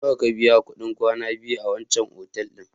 Nawa ka biya kuɗin kwana biyu a wancan otal ɗin?